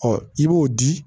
Ɔ i b'o di